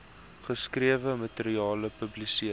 geskrewe materiaal publiseer